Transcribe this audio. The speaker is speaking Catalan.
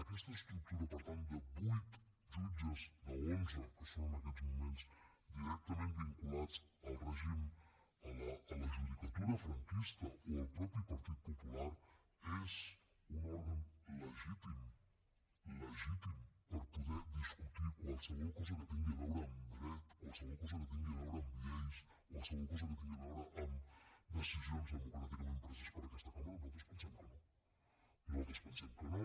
aquesta estructura per tant de vuit jutges d’onze que són en aquests moments directament vinculats al règim a la judicatura franquista o al mateix partit popular és un òrgan legítim legítim per poder discutir qualsevol cosa que tingui a veure amb dret qualsevol cosa que tingui a veure amb lleis qualsevol cosa que tingui a veure amb decisions democràticament preses per aquesta cambra nosaltres pensem que no nosaltres pensem que no